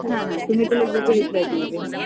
হ্যাঁ হ্যাঁ তুমি তাহলে ভেবে reply দিয়ে দিও